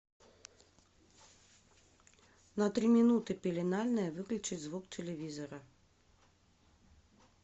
на три минуты пеленальная выключить звук телевизора